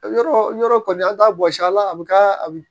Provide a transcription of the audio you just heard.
Yɔrɔ yɔrɔ kɔni an t'a bɔsi a la a bɛ k'a mi